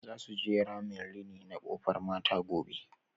Za su je ramin rini na Kofar Mata gobe.